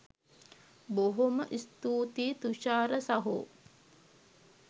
බොහොම ස්තූතියි තුෂාර සහෝ